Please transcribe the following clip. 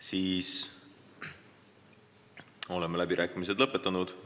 Siis oleme läbirääkimised lõpetanud.